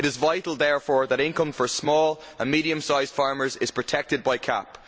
It is vital therefore that income for small and medium sized farmers is protected by the CAP.